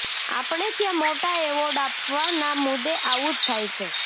આપણે ત્યાં મોટા એવાર્ડ આપવાના મુદે આવું જ થાય છે